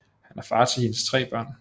Han er far til hendes tre børn